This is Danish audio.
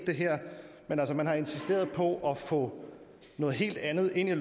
men man har insisteret på at få noget helt andet ind i